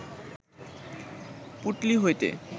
পুঁটলি হইতে